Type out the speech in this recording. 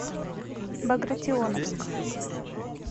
багратионовск